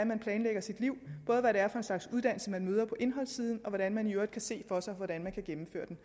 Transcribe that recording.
man planlægger sit liv både hvad det er for en slags uddannelse man møder på indholdssiden og hvordan man i øvrigt kan se for sig hvordan man kan gennemføre den